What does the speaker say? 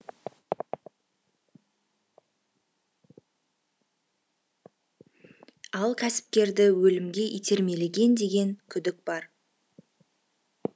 ал кәсіпкерді өлімге итермелеген деген күдік бар